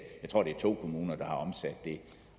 to kommuner der har omsat det